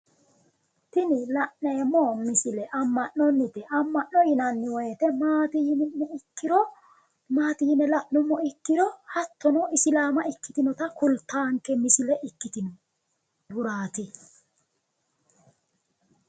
Tini la'neemo misile ama'noniti ama'no yinani woyite maati yine la'numo ikiro hattono isilaama ikitinota kulitano misile ikitnohurati